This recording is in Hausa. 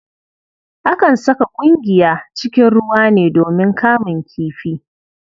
Akan saka ƙungiya cikin ruwa ne domin kamun kifi.